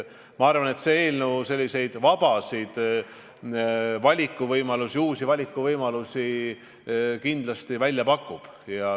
Ma arvan, et see eelnõu vabasid valikuvõimalusi, uusi valikuvõimalusi kindlasti pakub.